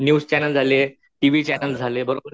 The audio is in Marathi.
न्यूस चॅनल झाले, टीव्ही चॅनल झाले बरोबरे.